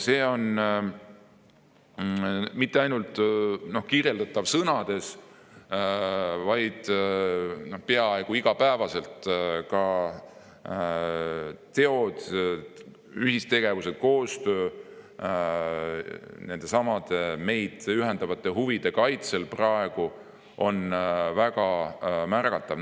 See on mitte ainult sõnades kirjeldatav, vaid peaaegu iga päev ka teod, ühistegevus ja koostöö nendesamade meid ühendavate huvide kaitsel on praegu väga märgatavad.